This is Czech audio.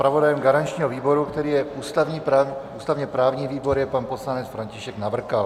Zpravodajem garančního výboru, kterým je ústavně-právní výbor, je pan poslanec František Navrkal.